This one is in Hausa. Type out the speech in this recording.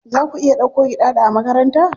Za ku iya dauko Giɗaɗo a makaranta?